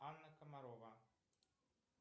анна комарова